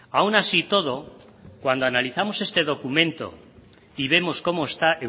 aún así todo cuando analizamos este documento y vemos cómo está